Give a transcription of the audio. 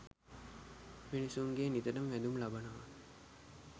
මිනිසුන්ගෙන් නිතර වැඳුම් ලබනවා.